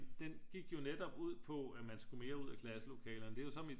Den gik jo netop ud på at man skulle mere ud af klasselokalerne det er så mit